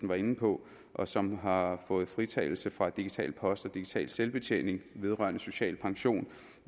var inde på og som har fået fritagelse fra digital post og digital selvbetjening vedrørende social pension